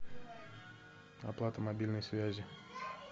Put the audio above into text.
оплата мобильной связи